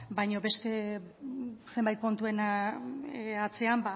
baina beste zenbait kontuen atzean